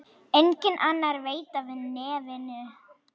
Enginn annar veit af nefinu.